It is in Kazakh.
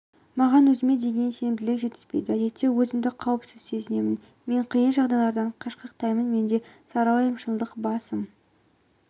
маған өзіме деген сенімділік жетіспейді әдетте өзімді қауіпсіз сезінемін мен қиын жағдайлардан қашқақтаймын менде сарыуайымшылдық басым